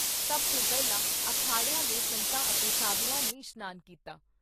ਸਭ ਤੋਂ ਪਹਿਲਾਂ ਅਖਾੜਿਆਂ ਦੇ ਸੰਤਾਂ ਅਤੇ ਸਧੂਆਂ ਨੇ ਇਸ਼ਨਾਨ ਕੀਤਾ।